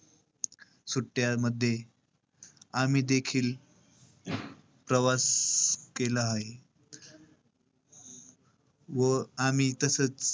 सुट्ट्यामध्ये आम्ही देखील प्रवास केला आहे. व आम्ही तसंच,